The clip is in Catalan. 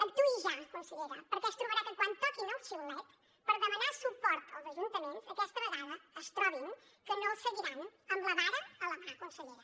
actuï ja consellera perquè es trobarà que quan toquin el xiulet per demanar suport als ajuntaments aquesta vegada es trobin que no els seguiran amb la vara a la mà consellera